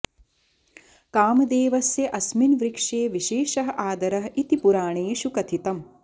कामदेवस्य अस्मिन् वृक्षे विशेषः आदरः इति पुराणेषु कथितम्